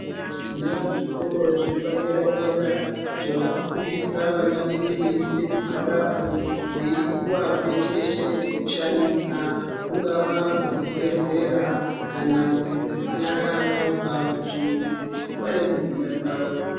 Tinazvo zvikora zviri padera dera zvavakufundisa vana vedu veida kugarapo Veipuwa cheshe chekushandisa kungava kwekugezera kana kugeza nyara vabva kuzvimbuzi vari Mudzimba dzawo.